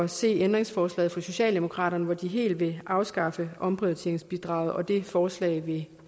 se ændringsforslaget fra socialdemokraterne hvor de helt vil afskaffe omprioriteringsbidraget det forslag vil